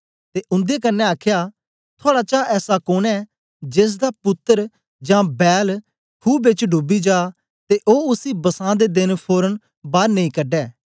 ते उंदे कन्ने आखया थुआड़ा चा ऐसा कोन ऐं जेसदा पुत्तर जां बैल खू बेच डूबी जा ते ओ उसी बसां दे देन फोरन बार नेई कढे